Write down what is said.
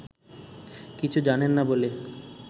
কিছু্ই জানে না বলে